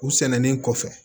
U sɛnɛnen kɔfɛ